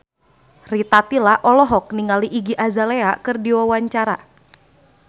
Rita Tila olohok ningali Iggy Azalea keur diwawancara